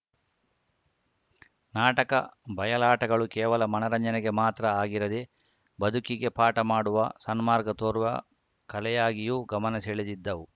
ನಾಟಕ ಬಯಲಾಟಗಳು ಕೇವಲ ಮನರಂಜನೆಗೆ ಮಾತ್ರ ಆಗಿರದೆ ಬದುಕಿಗೆ ಪಾಠ ಮಾಡುವ ಸನ್ಮಾರ್ಗ ತೋರುವ ಕಲೆಯಾಗಿಯೂ ಗಮನ ಸೆಳೆದಿದ್ದವು